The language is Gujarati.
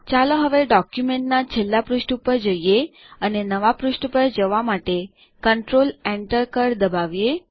ચાલો હવે ડોક્યુમેન્ટના છેલ્લા પૃષ્ઠ ઉપર જઈએ અને નવા પૃષ્ઠ પર જવા માટે કન્ટ્રોલ Enter કળ દબાવીએ